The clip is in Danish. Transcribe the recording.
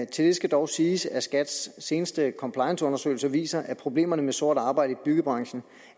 til det skal dog siges at skats seneste complianceundersøgelse viser at problemerne med sort arbejde i byggebranchen